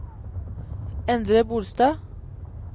Endre Bolstad